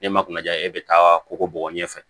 Ne ma kunnaja e bɛ taa kogo bɔgɔ ɲɛfɛ